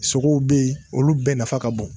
Sogow bɛ yen , olu bɛɛ nafa ka bon.